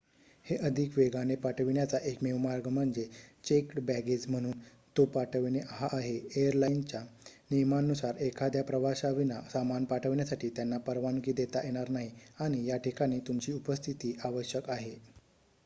हे अधिक वेगाने पाठविण्याचा एकमेव मार्ग म्हणजे चेक्ड बॅगेज म्हणून तो पाठविणे हा आहे एयरलाईनच्या नियमांनुसार एखाद्या प्रवाशाविना सामान पाठविण्यासाठी त्यांना परवानगी देता येणार नाही आणि याठिकाणी तुमची उपस्थिती आवश्यक आहे